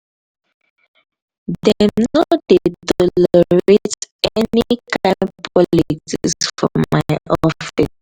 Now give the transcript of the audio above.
dem no dey tolerate any kain politics for my office.